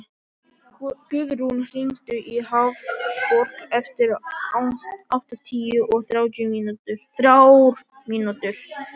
Guðrún, hringdu í Hafborg eftir áttatíu og þrjár mínútur.